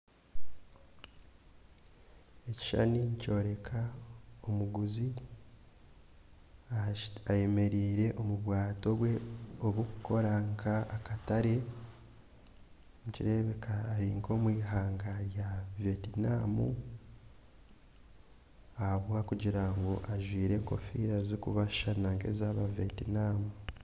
Ekishushani nikyoreka omuguzi ayemereire omubwato bwe oburikukora nkakatare nikirebeka Ari nkomwihanga rya vetnum ahabwokugira ngu ajwaire enkofiira zikubashushana nkezaba vetnum